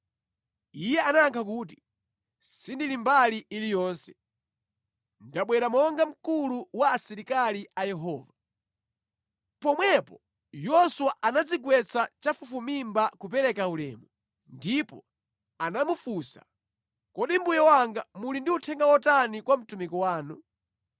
Iye anayankha kuti “Sindili mbali iliyonse. Ndabwera monga mkulu wa asilikali a Yehova.” Pomwepo Yoswa anadzigwetsa chafufumimba kupereka ulemu, ndipo anamufunsa, “Kodi mbuye wanga muli ndi uthenga wotani kwa mtumiki wanu?”